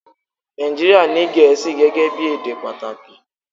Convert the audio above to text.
Nàìjíríà ní Gẹ̀ẹ́sì gẹ́gẹ́ bí èdè pàtàkì